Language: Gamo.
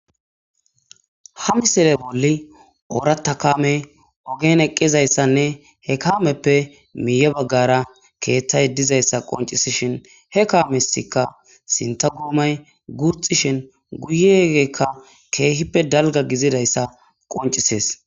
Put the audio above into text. ha misile bolli oorata kame ogen eqqizayssanne he kaameppe miiye baggara keeththay dizayssa qoncisishin he kaamesikka sinta guomay guxishin guye bagarkka keehippe dalga gizidayssa qoncisees